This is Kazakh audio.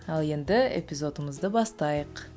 ал енді эпизодымызды бастайық